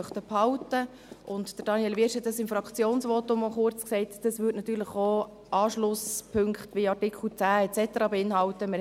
Daniel Wyrsch erwähnte im Fraktionsvotum kurz, dass dies Anschlusspunkte in Artikel 10 et cetera beinhalten würde.